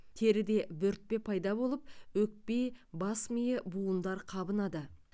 теріде бөртпе пайда болып өкпе бас миы буындар қабынады